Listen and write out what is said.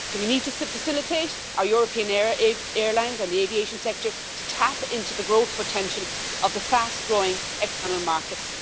So we need to facilitate our European airlines and the aviation sector to tap into the growth potential of the fast growing external markets.